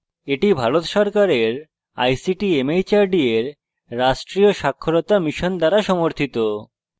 এটি ভারত সরকারের ict mhrd এর রাষ্ট্রীয় সাক্ষরতা mission দ্বারা সমর্থিত